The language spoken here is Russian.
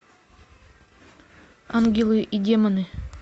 ангелы и демоны